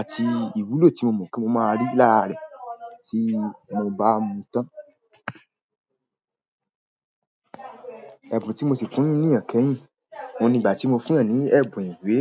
àti ìwúlò tí mo mọ̀ pe mo máa rí lára rẹ tí mo bá mu tán. Ẹ̀bùn tí mo sì fún ènìyàn kẹ́yìn, òun ni ìgbà tí mo fún eeyan ní ẹ̀bùn ìwé.